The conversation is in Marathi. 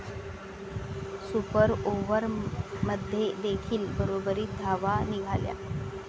सुपर ओव्हरमध्येदेखील बरोबरीत धावा निघाल्या.